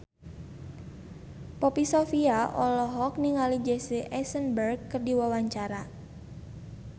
Poppy Sovia olohok ningali Jesse Eisenberg keur diwawancara